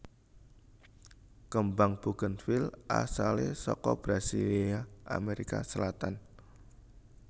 Kembang bugènvil asalé saka Brasilia Amerika Selatan